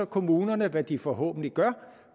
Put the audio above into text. kommunerne hvad de forhåbentlig gør